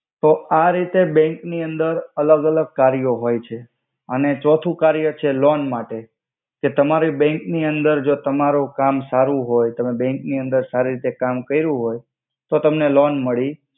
તો આ રિતે બેંક નિ અંદર અલ્ગ અલ્ગ કર્યો હોય છે અને ચોથુ કર્ય છે લોન માટે કે તમારિ બેંક નિ અંદર ત્મારુ કામ સારુ હોય તમે બેંક નિ અંદર સારી રીતે કામ કર્યુ હોય તો તમને લોન મડી